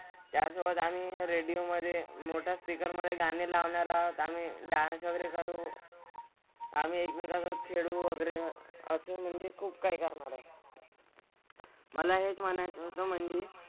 त्यासोबत आम्ही रेडिओ मधे मोठा स्पीकर मधे गाणी लावणार आहोत. आम्हीडान्स वगैरे करू. आम्ही एकमेकांसोबत फिरू वगैरे असं म्हणजे खूप काय काय होणार. मला हेच म्हणायचं होतं म्हणजे,